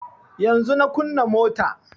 Yanzun na kunna mota